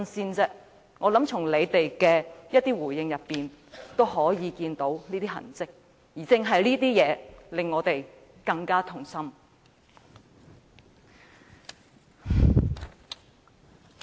我相信從他們的回應中，也可以看到這些痕跡，而這正正令到我們更加痛心。